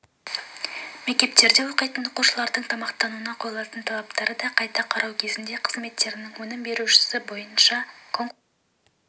мектептерде оқитын оқушылардың тамақтануына қойылатын талаптарды қайта қарау кезінде қызметтердің өнім берушісін таңдау бойынша конкурстың